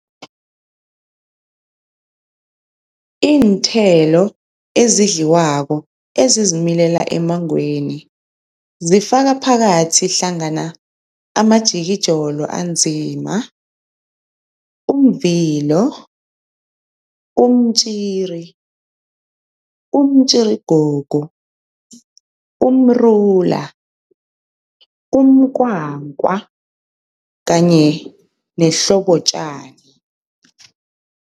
Iinthelo ezidliwako ezizimilela emmangweni zifaka phakathi hlangana amajikijolo anzima, umvilo, umtjiri, umtjirigogo, umrula, umkwankwa, kanye nehlobotjani.